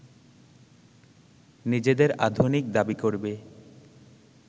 নিজেদের আধুনিক দাবি করবে